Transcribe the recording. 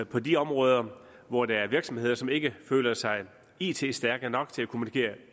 på de områder hvor der er virksomheder som ikke føler sig it stærke nok til at kommunikere